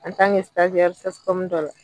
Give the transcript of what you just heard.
CSCOM dɔ la.